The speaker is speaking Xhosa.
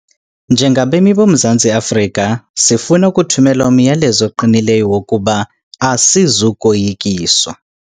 Njengabemi boMzantsi Afrika, sifuna ukuthumela umyalezo oqinileyo wokuba asizukoyikiswa.